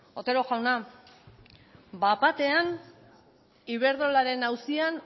otero jauna bapatena iberdrolaren auzian